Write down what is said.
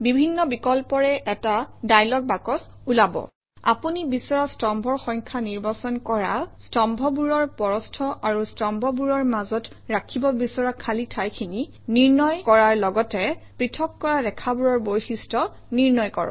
বিভিন্ন বিকল্পৰে এটা ডায়লগ বাকচ ওলাব আপুনি বিচৰা স্তম্ভৰ সংখ্যা নিৰ্বাচন কৰা স্তম্ভবোৰৰ প্ৰস্থ আৰু স্তম্ভবোৰৰ মাজত ৰাখিব বিচৰা খালী ঠাইখিনি নিৰ্ণয় কৰা লগতে পৃথক কৰা ৰেখাবোৰৰ বৈশিষ্ট্য নিৰ্ণয় কৰা